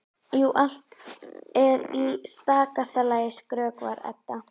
Jú, allt er í stakasta lagi, skrökvar Edda.